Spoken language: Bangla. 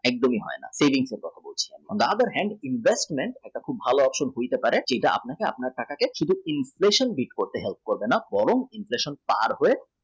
একদমই হয় না on the other hand investment আপনার ভাল option হতে পারে যেটা আপনি বা আপনার টাকাকে শুধু inflation beat করতে help করবে না বরং inflation পার হয়ে